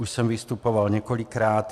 Už jsem vystupoval několikrát.